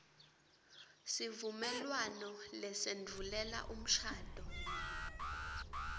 sivumelwano lesendvulela umshado